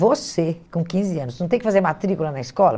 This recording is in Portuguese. Você, com quinze anos, não tem que fazer matrícula na escola?